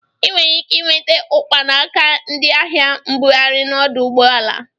Ị nwere ike inweta ụkpa n'aka ndị ahịa mbụgharị n'ọdụ ụgbọala.